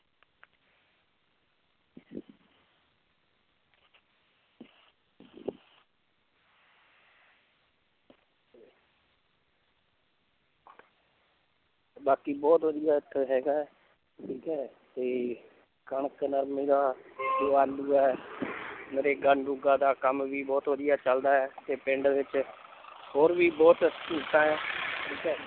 ਬਾਕੀ ਬਹੁਤ ਵਧੀਆ ਇੱਥੇ ਹੈਗਾ ਹੈ ਠੀਕ ਹੈ ਤੇ ਕਣਕ ਨਰਮੇ ਦਾ ਤੇ ਆਲੂ ਹੈ ਨਰੇਗਾ ਨਰੂਗਾ ਦਾ ਕੰਮ ਵੀ ਬਹੁਤ ਵਧੀਆ ਚੱਲਦਾ ਹੈ ਤੇ ਪਿੰਡ ਵਿੱਚ ਹੋਰ ਵੀ ਬਹੁਤ ਸਹੂਲਤਾਂ ਹੈ ਠੀਕ ਹੈ l